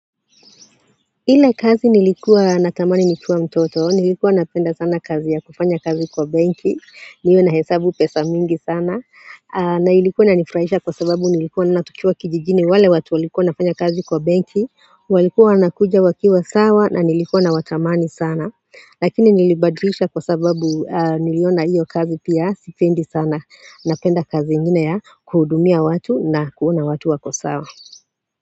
Ile kazi nilikuwa natamani nikiwa mtoto, nilikuwa napenda sana kazi ya kufanya kazi kwa benki, niwe nahesabu pesa mingi sana na ilikuwa inanifurahisha kwa sababu nilikuwa naona tukiwa kijijini wale watu walikuwa wanafanya kazi kwa benki walikuwa wanakuja wakiwa sawa na nilikuwa nawatamani sana lakini nilibadilisha kwa sababu niliona iyo kazi pia sipendi sana napenda kazi ingine ya kuhudumia watu na kuona watu wako sawa.